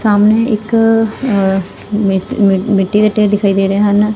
ਸਾਹਮਣੇ ਇਕ ਮਿ ਮਿੱਟੀ ਦੇ ਢੇਰ ਦਿਖਾਈ ਦੇ ਰਹੇ ਹਨ।